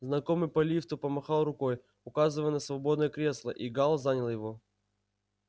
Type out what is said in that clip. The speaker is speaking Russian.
знакомый по лифту помахал рукой указывая на свободное кресло и гаал занял его